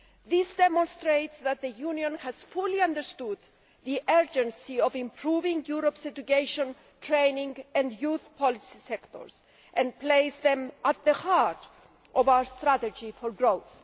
This demonstrates that the Union has fully understood the urgency of improving Europe's education, training and youth policy sectors, and placed them at the heart of our strategy for growth.